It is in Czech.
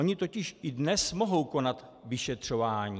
Oni totiž i dnes mohou konat vyšetřování.